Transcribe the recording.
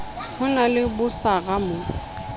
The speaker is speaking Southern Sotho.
ho na le bosara bo